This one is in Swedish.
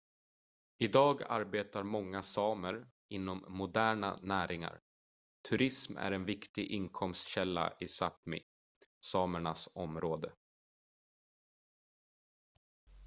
idag arbetar många samer inom moderna näringar turism är en viktig inkomstkälla i sápmi samernas område